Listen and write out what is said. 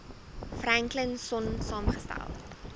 franklin sonn saamgestel